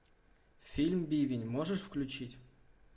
фильм бивень можешь включить